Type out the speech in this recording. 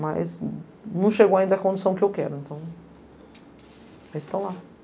Mas não chegou ainda a condição que eu quero, então... Eles estão lá.